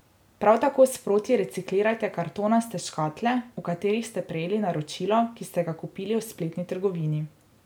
Prav tako sproti reciklirajte kartonaste škatle, v katerih ste prejeli naročilo, ki ste ga kupili v spletni trgovini.